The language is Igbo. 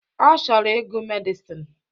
Ọ chọrọ ịgụ Medịsịn